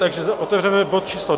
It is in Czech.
Takže otevřeme bod číslo